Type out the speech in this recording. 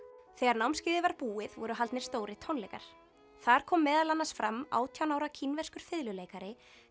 þegar námskeiðið var búið voru haldnir stórir tónleikar þar kom meðal annars fram átján ára kínverskur fiðluleikari